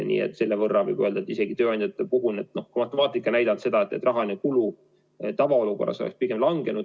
Nii et võib öelda, et tööandjate puhul matemaatika näitab seda, et nende rahaline kulu tavaolukorras pigem langeks.